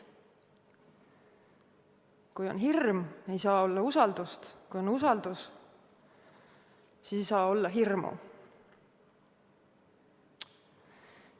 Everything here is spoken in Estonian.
Kui on hirm, ei saa olla usaldust, kui on usaldus, siis ei saa olla hirmu.